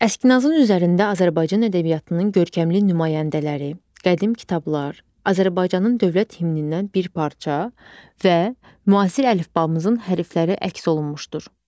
Əskinasın üzərində Azərbaycan ədəbiyyatının görkəmli nümayəndələri, qədim kitablar, Azərbaycanın dövlət himnindən bir parça və müasir əlifbamızın hərfləri əks olunmuşdur.